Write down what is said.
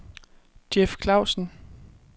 Jeff Klavsen